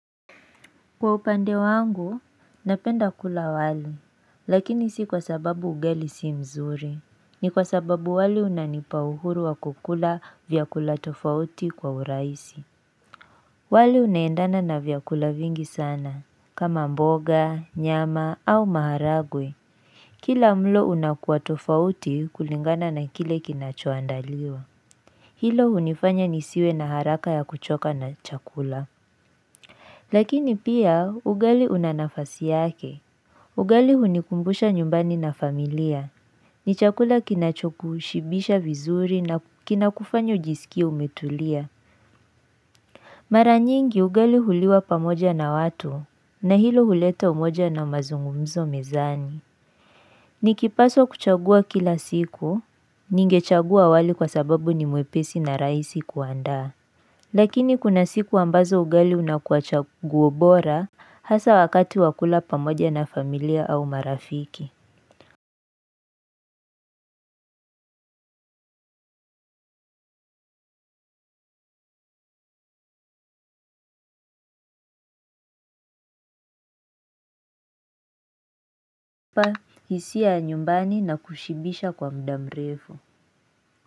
Kwa upande wangu, napenda kula wali, lakini si kwa sababu ugali si mzuri. Ni kwa sababu wali unanipa uhuru wa kukula vyakula tofauti kwa urahisi. Wali unaendana na vyakula vingi sana, kama mboga, nyama au maharagwe. Kila mlo unakuwa tofauti kulingana na kile kinachoandaliwa. Hilo unifanya nisiwe na haraka ya kuchoka na chakula. Lakini pia ugali una nafasi yake. Ugali hunikumbusha nyumbani na familia. Ni chakula kinachokushibisha vizuri na kinakufanya ujisikie umetulia. Mara nyingi ugali huliwa pamoja na watu na hilo huleta umoja na mazungumzo mezani. Nikipaswa kuchagua kila siku, ningechagua wali kwa sababu ni mwepesi na rahisi kuandaa. Lakini kuna siku ambazo ugali unakua chaguo bora hasa wakati wa kula pamoja na familia au marafiki inanipa hisia ya nyumbani na kushibisha kwa muda mrefu.